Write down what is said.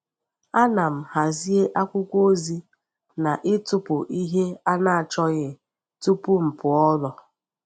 Ana m hazie akwụkwọ ozi na ịtụpụ ihe a na-achọghị tupu m pụọ n’ụlọ.